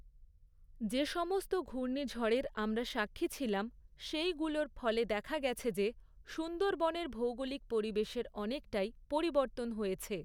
যে সমস্ত ঘূর্ণিঝড়ের আমরা সাক্ষী ছিলাম, সেইগুলোর ফলে দেখা গেছে যে, সুন্দরবনের ভৌগোলিক পরিবেশের অনেকটাই পরিবর্তন হয়েছে।